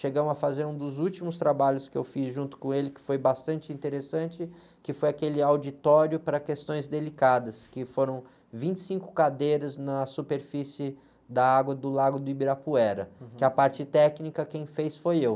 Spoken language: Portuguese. Chegamos a fazer um dos últimos trabalhos que eu fiz junto com ele, que foi bastante interessante, que foi aquele auditório para questões delicadas, que foram vinte e cinco cadeiras na superfície da água do lago do Ibirapuera...hum.ue a parte técnica quem fez foi eu.